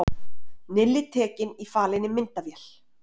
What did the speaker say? Nilli tekinn í falinni myndavél